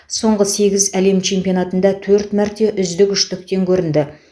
соңғы сегіз әлем чемпионатында төрт мәрте үздік үштіктен көрінді